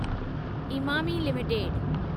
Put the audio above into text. Emami limited